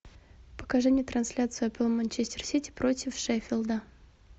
покажи мне трансляцию апл манчестер сити против шеффилда